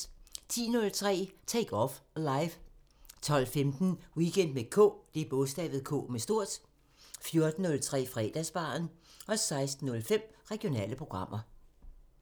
10:03: Take Off Live 12:15: Weekend med K 14:03: Fredagsbaren 16:05: Regionale programmer